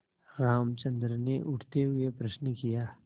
रामचंद्र ने उठते हुए प्रश्न किया